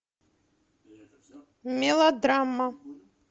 мелодрама